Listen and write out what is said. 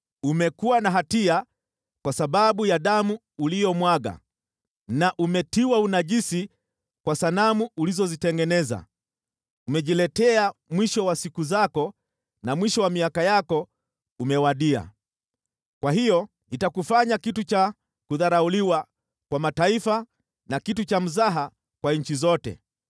umekuwa na hatia kwa sababu ya damu uliyomwaga na umetiwa unajisi kwa sanamu ulizotengeneza. Umejiletea mwisho wa siku zako na mwisho wa miaka yako umewadia. Kwa hiyo nitakufanya kitu cha kudharauliwa kwa mataifa na kitu cha mzaha kwa nchi zote.